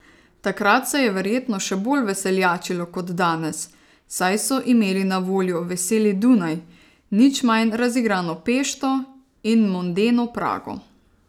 Takrat se je verjetno še bolj veseljačilo kot danes, saj so imeli na voljo veseli Dunaj, nič manj razigrano Pešto in mondeno Prago.